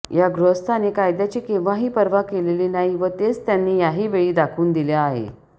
या गृहस्थाने कायद्याची केंव्हाही पर्वा केलेली नाही व तेच त्यांनी याही वेळी दाखवून दिले आहे